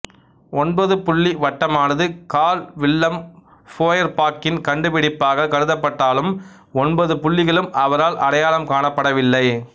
ஒன்பதுபுள்ளி வட்டமானது Karl Willem ஃபோயர்பாக்கின் கண்டுபிடிப்பாகக் கருதப்பட்டாலும் ஒன்பது புள்ளிகளும் அவரால் அடையாளம் காணப்படவில்லை